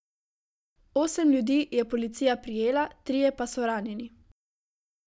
Osem ljudi je policija prijela, trije pa so ranjeni.